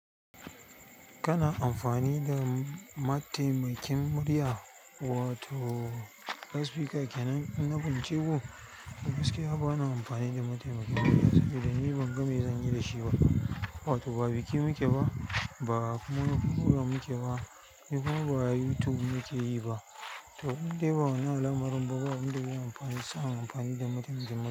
Kana amfani da mataimakin murya wato lla speake kenan? Na binciko, gaskiya bana amfani da mataimakin murya saboda ni ban game zanyi da shi ba, wato ba biki muke ba, ba kuma fiko muke ba, ni kuma ba YouTube muke yi ba. To in dai ba na alamar ban ba, in dai zan samu amfani da mataimakin murya.